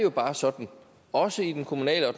jo bare sådan også i den kommunale og